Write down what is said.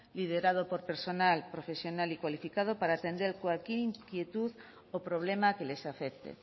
liderado por personal profesional y cualificado para atender cualquier inquietud o problema que les afecte